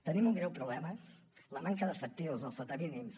tenim un greu problema la manca d’efectius els sota mínims